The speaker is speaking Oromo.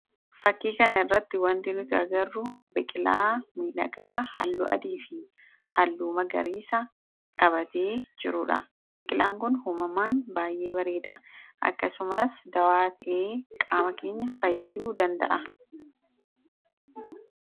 Fakkii kana irratti wanti nutagarru biqilaa miidhagaa halluu adii fi halluu magariisa qabatee jirudha. Biqilaan kun uumamaan baay'ee bareeda. akkasumaas dawaa ta'ee qaamakinya fayyaduu danda'a